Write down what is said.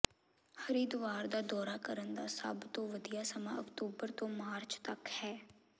ਹਰਿਦੁਆਰ ਦਾ ਦੌਰਾ ਕਰਨ ਦਾ ਸਭ ਤੋਂ ਵਧੀਆ ਸਮਾਂ ਅਕਤੂਬਰ ਤੋਂ ਮਾਰਚ ਤੱਕ ਹੈ